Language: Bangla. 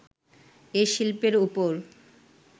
এ শিল্পের ওপর